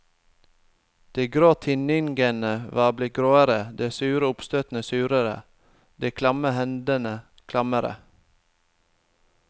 De grå tinningene var blitt gråere, de sure oppstøtene surere, de klamme hendene klammere.